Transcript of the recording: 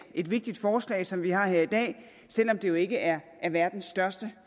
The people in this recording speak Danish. et vigtigt forslag som vi har her i dag selv om det jo ikke er verdens største